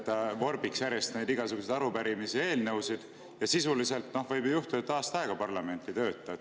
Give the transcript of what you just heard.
See vorbiks järjest igasuguseid arupärimisi ja eelnõusid, sisuliselt võib siis ju juhtuda, et aasta aega parlament ei tööta.